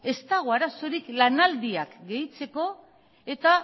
ez dago arazorik lanaldiak gehitzeko eta